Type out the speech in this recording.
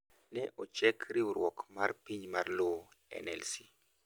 ne ochek riwruok mar piny mar lowo (NLC)